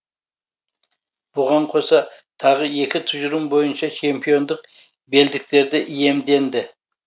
бұған қоса тағы екі тұжырым бойынша чемпиондық белдіктерді иемденді